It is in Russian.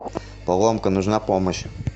поломка нужна помощь